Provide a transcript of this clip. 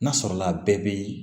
N'a sɔrɔla a bɛɛ bɛ